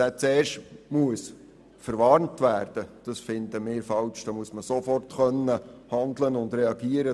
Es muss möglich sein, sofort zu handeln und zu reagieren.